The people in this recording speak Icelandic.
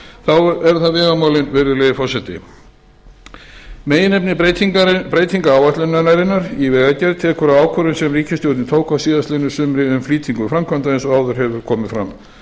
þá eru það vegamálin virðulegi forseti meginefni breytinga áætlunarinnar í vegagerð tekur á ákvörðun sem ríkisstjórnin tók á síðastliðnu sumri um flýtingu framkvæmda eins og áður hefur komið fram